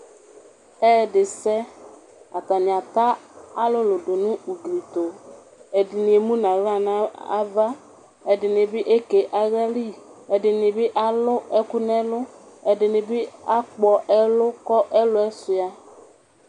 Ɛyɛdisɛ atani ata alʋlʋ dʋnʋ ʋgblitʋ ɛdini emʋnʋ aɣla nʋ ava, ɛdini bi eke aɣlali, ɛdini bi alʋnʋ ɛlʋ, ɛdini bi akpɔ ɛlʋ kʋ elʋ yɛ suia